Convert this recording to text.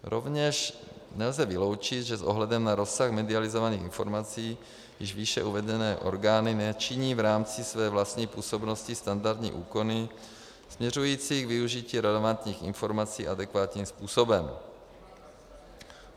Rovněž nelze vyloučit, že s ohledem na rozsah medializovaných informací již výše uvedené orgány nečiní v rámci své vlastní působnosti standardní úkony směřující k využití relevantních informací adekvátním způsobem.